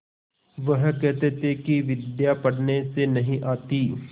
वह कहते थे कि विद्या पढ़ने से नहीं आती